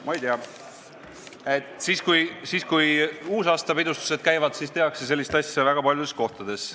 Ma ei tea, aga kui uusaastapidustused käivad, siis tehakse sellist asja väga paljudes kohtades.